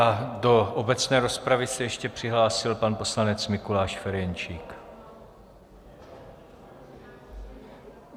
A do obecné rozpravy se ještě přihlásil pan poslanec Mikuláš Ferjenčík.